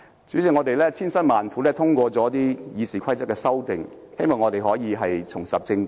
主席，我們千辛萬苦通過了《議事規則》的修訂，希望立法會可以重拾正軌。